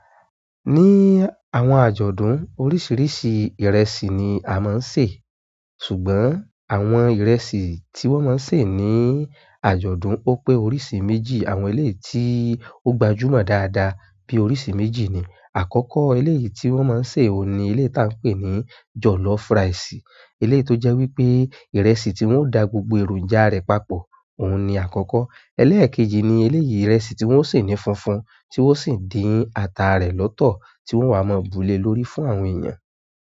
Ní àwọn àjọ̀dún oríṣiríṣi ìrẹsì ni a máa nsè, ṣùgbọ́n àwọn ìrẹsì ti wọn má sè ni àjọ̀dún ó pé onírìísí méjì àwọn eléyìí tí ó gbajúmò dada bí oríṣi méjì ni àkọ́kọ́ eléyìí tí wọ́n máa ń sè ó ni eléyì tá ń pè ní jọ̀lọ́fú ricesi eleyi tó jẹ́ wípé ìrẹsì tí wọ́n dà gbogbo èròjà rẹ̀ papọ̀, òun ni àkọ́kọ́. Ẹléèkejì ni eleyìí ìrẹsì tí wọ́n sè ní funfun tí wọ́n sì dín ata rẹ̀ lọ́tọ̀ tí wọ́n wá mọ búlé lórí fún àwọn èèyàn.